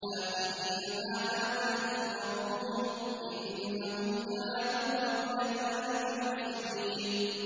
آخِذِينَ مَا آتَاهُمْ رَبُّهُمْ ۚ إِنَّهُمْ كَانُوا قَبْلَ ذَٰلِكَ مُحْسِنِينَ